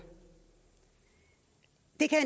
det kan